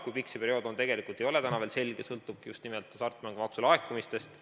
Kui pikk see periood on, ei ole täna veel selge, see sõltub just nimelt hasartmängumaksu laekumistest.